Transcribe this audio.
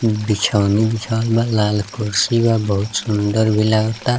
बिछौनी बिछवाल बा लाल कुर्सी बा बहुत सुन्दर भी लागता।